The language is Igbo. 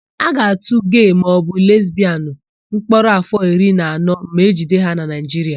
A ga-atụ gee maọbụ lesbịanụ mkpọrọ áfọ̀ iri na anọ ma ejide ha na Naịjiria.